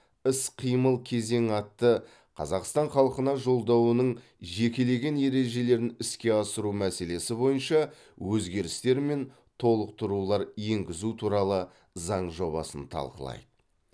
іс қимыл кезеңі атты қазақстан халқына жолдауының жекелеген ережелерін іске асыру мәселесі бойынша өзгерістер мен толықтырулар енгізу туралы заң жобасын талқылайды